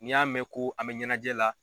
N'i y'a mɛn ko an bɛ ɲɛnajɛ la